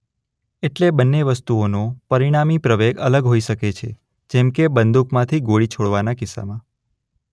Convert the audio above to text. એટલે બંને વસ્તુઓનો પરિણામી પ્રવેગ અલગ હોઈ શકે છે જેમ કે બંદૂકમાંથી ગોળી છોડવાના કિસ્સામાં